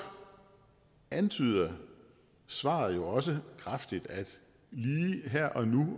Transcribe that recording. antyder svaret jo også kraftigt at lige her og nu